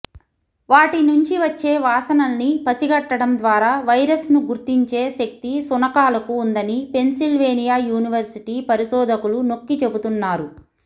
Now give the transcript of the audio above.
వాటి నుంచి వచ్చే వాసనల్ని పసిగట్టడం ద్వారా వైరస్ను గుర్తించే శక్తి శునకాలకు ఉందని పెన్సిల్వేనియా యూనివర్సిటీ పరిశోధకులు నొక్కిచెబుతున్నారు